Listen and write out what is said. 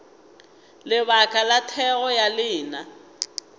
lebaka la thekgo ya lena